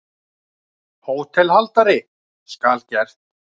HÓTELHALDARI: Skal gert.